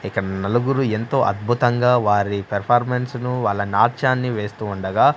ఇక నలుగురు ఎంతో అద్భుతంగా వారి పెర్ఫార్మన్స్ ని వాళ్ల నాట్యాన్ని వేస్తూ ఉండగా.